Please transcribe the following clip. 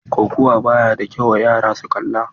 Kokawa ba ya da kyau wa yara su kalla.